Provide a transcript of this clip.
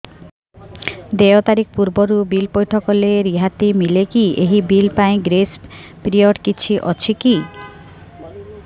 ଦେୟ ତାରିଖ ପୂର୍ବରୁ ବିଲ୍ ପୈଠ କଲେ ରିହାତି ମିଲେକି ଏହି ବିଲ୍ ପାଇଁ ଗ୍ରେସ୍ ପିରିୟଡ଼ କିଛି ଅଛିକି